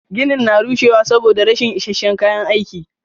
Ginin na rushewa saboda rashin is isasshen kayan aiki.